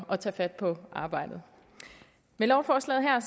at tage fat på arbejdet med lovforslaget her